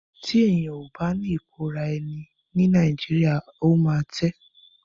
Tí èyàn ó bá ní ìkóra ẹni níjàánu ó máa tẹ́.